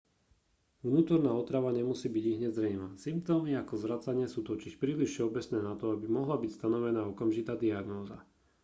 vnútorná otrava nemusí byť ihneď zrejmá symptómy ako zvracanie sú totiž príliš všeobecné na to aby mohla byť stanovená okamžitá diagnóza